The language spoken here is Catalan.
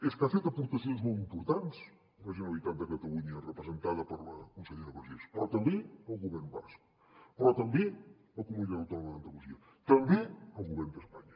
és que ha fet aportacions molt importants la generalitat de catalunya representada per la consellera vergés però també el govern basc però també la comunitat autònoma d’andalusia també el govern d’espanya